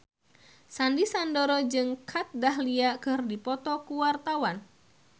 Sandy Sandoro jeung Kat Dahlia keur dipoto ku wartawan